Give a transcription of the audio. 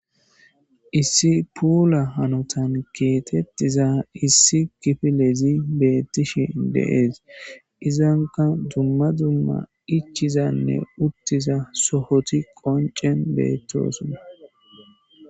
Issi puula hanotan kexetiza issi kifilezi beetishe de'es , izanak dumma dumma ichizanne utiza sohoti qonceni betoson.